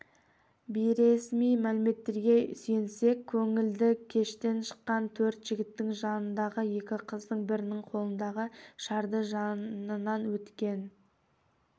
бейресми мәліметтерге сүйенсек көңілді кештен шыққан төрт жігіттің жанындағы екі қыздың бірінің қолындағы шарды жанынан өткен